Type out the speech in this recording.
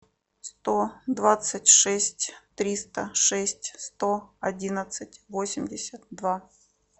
сто двадцать шесть триста шесть сто одиннадцать восемьдесят два